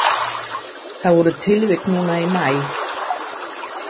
Það voru tilvik núna í maí.